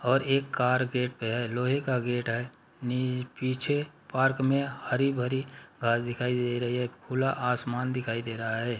और एक car gate पे है। लोहे का गेट है नी पीछे पार्क में हरी भरी घास दिखाई दे रही है। खुला आसमान दिखाई दे रहा है।